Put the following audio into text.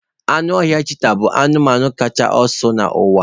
Anụ ọhịa cheeta bụ anụmanụ kacha ọsọ n'ụwa